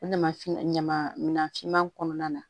O ɲama ɲama minan finman kɔnɔna na